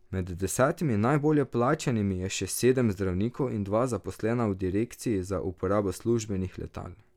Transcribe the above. Med desetimi najbolje plačanimi je še sedem zdravnikov in dva zaposlena v direkciji za uporabo službenih letal.